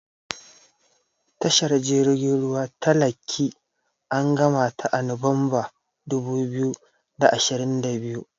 Tashar jirgin ruwa ta Lekki an gamata a Nuwanbar dubu biyu da ashirin da biyu.